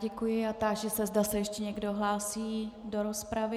Děkuji a táži se, zda se ještě někdo hlásí do rozpravy.